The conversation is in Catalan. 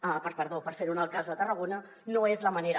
perdó per fer ho en el cas de tarragona no és la manera